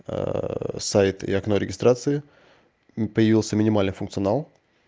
сайт и окно регистрации появился минимальный функционал